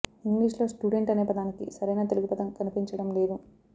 ఇంగ్లీషులో స్టూడెంట్ అనే పదానికి సరైన తెలుగు పదం కనిపించడం లేదు